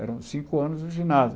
Eram cinco anos de ginásio.